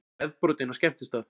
Nefbrotinn á skemmtistað